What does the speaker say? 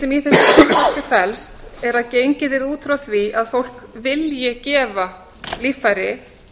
sem í þessu frumvarpi felst er að gengið er út frá því að fólk vilji gefa líffæri